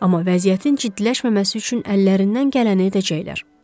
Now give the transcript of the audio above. Amma vəziyyətin ciddiləşməməsi üçün əllərindən gələni edəcəklər.